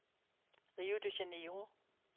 Rio de Janeiro